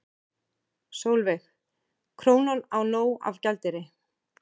Sólveig: Krónan á nóg af gjaldeyri?